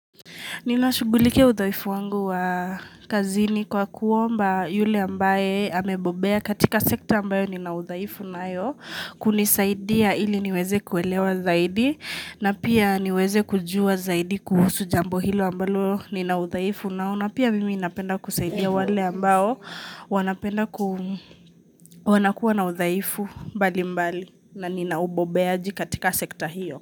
Ni na shugulike udhaifu wangu wa kazini kwa kuomba yule ambaye amebobea katika sekta ambayo ni na uzaifu nayo kunisaidia ili niweze kuelewa zaidi na pia niweze kujua zaidi kuhusu jambo hilo ambayo ni na udhaifu nao na pia mimi inapenda kusaidia wale ambayo wanapenda ku wanakuwa na udhaifu mbali mbali na nina ubobeaji katika sekta hiyo.